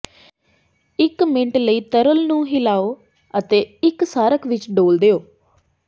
ਇੱਕ ਮਿੰਟ ਲਈ ਤਰਲ ਨੂੰ ਹਿਲਾਓ ਅਤੇ ਇੱਕ ਸਾਰਕ ਵਿੱਚ ਡੋਲ੍ਹ ਦਿਓ